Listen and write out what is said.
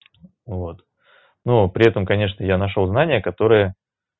вот ну при этом конечно я нашёл знание которое